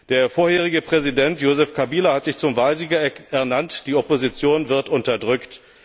Der vorherige Präsident, Joseph Kabila, hat sich zum Wahlsieger ernannt, die Opposition wird unterdrückt.